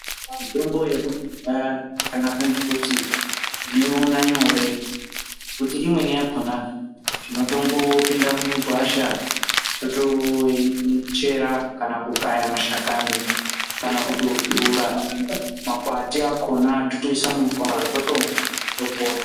Mitombo yekudhaya yakanaka ngekuti tinoiwona nyore ngekuti imweni yakona tinotongo pinda mugwasha totoichera kana kukaya mashakani kana kutosvura makwati akona totoise mumvura totonwa topona